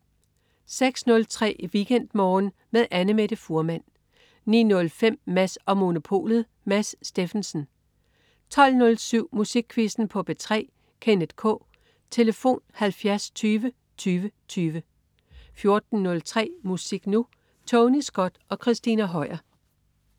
06.03 WeekendMorgen med Annamette Fuhrmann 09.05 Mads & Monopolet. Mads Steffensen 12.07 Musikquizzen på P3. Kenneth K. Tlf.: 70 20 20 20 14.03 Musik Nu! Tony Scott og Christina Høier